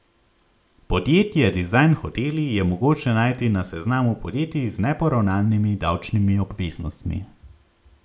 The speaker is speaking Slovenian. Podjetje Dizajn Hoteli je mogoče najti na seznamu podjetij z neporavnanimi davčnimi obveznostmi.